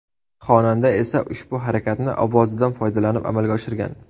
Xonanda esa ushbu harakatni ovozidan foydalanib amalga oshirgan.